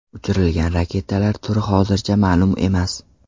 Uchirilgan raketalar turi hozircha ma’lum emas.